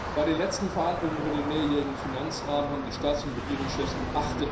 Bei den letzten Verhandlungen über den mehrjährigen Finanzrahmen haben die Staats und Regierungschefs am